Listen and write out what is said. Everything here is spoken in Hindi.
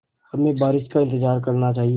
हमें बारिश का इंतज़ार करना चाहिए